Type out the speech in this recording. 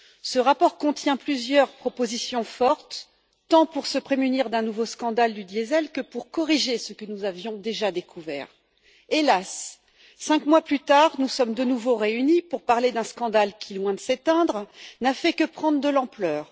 Ce rapport contient plusieurs propositions fortes, tant pour nous prémunir d'un nouveau scandale du diesel que pour corriger ce que nous avions déjà découvert. Hélas, cinq mois plus tard, nous sommes de nouveau réunis pour parler d'un scandale qui, loin de s'éteindre, n'a fait que prendre de l'ampleur.